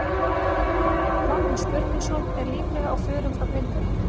Magnús Björgvinsson er líklega á förum frá Grindavík.